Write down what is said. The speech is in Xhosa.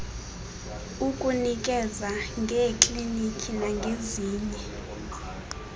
ukunikeza ngeekliniki nangezinye